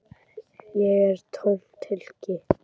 Ég er tómt hylki.